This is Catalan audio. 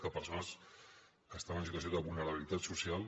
que persones que estan en situació de vulnerabilitat social